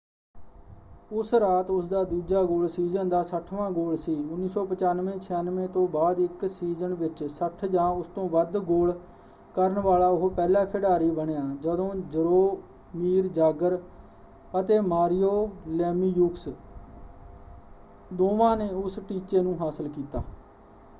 ਉਸ ਰਾਤ ਉਸਦਾ ਦੂਜਾ ਗੋਲ ਸੀਜ਼ਨ ਦਾ 60 ਵਾਂ ਗੋਲ ਸੀ 1995-96 ਤੋਂ ਬਾਅਦ ਇੱਕ ਸੀਜ਼ਨ ਵਿੱਚ 60 ਜਾਂ ਉਸ ਤੋਂ ਵੱਧ ਗੋਲ ਕਰਨ ਵਾਲਾ ਉਹ ਪਹਿਲਾ ਖਿਡਾਰੀ ਬਣਿਆ ਜਦੋਂ ਜਰੋਮੀਰ ਜਾਗਰ ਅਤੇ ਮਾਰੀਓ ਲੇਮੀਯੂਕਸ ਦੋਵਾਂ ਨੇ ਉਸ ਟੀਚੇ ਨੂੰ ਹਾਸਲ ਕੀਤਾ।